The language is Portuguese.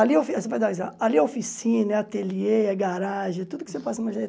Ali é o ali é oficina, é ateliê, é garagem, é tudo que você possa